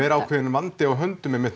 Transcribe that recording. er ákveðinn vandi á hönum